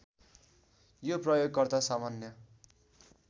यो प्रयोगकर्ता सामान्य